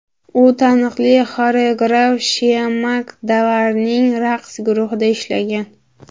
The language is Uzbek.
U taniqli xoreograf Shiamak Davarning raqs guruhida ishlagan.